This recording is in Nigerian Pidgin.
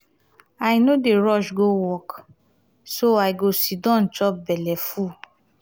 i no dey rush go work so i go siddon chop belle full.